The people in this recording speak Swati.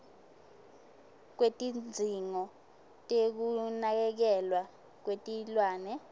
kwetidzingo tekunakekelwa kwetilwane